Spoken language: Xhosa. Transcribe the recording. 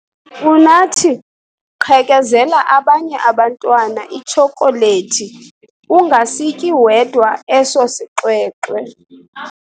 Unathi! Qhekezela abanye abantwana itshokolethi ungasityi wedwa eso sixwexwe.